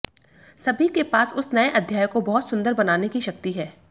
सभी के पास उस नए अध्याय को बहुत सुंदर बनाने की शक्ति है